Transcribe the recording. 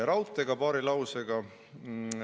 Raudteest ka paari lausega.